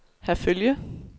Herfølge